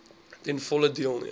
ten volle deelneem